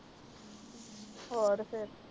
ਹੋਰ ਫਰੇ